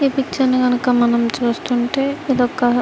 ఈ పిక్చర్ కనుక మనం చూస్తుంటే ఇది ఒక --